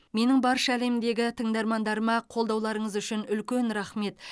менің барша әлемдегі тыңдармандарыма қолдауларыңыз үшін үлкен рақмет